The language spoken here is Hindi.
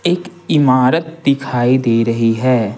एक इमारत दिखाई दे रही है।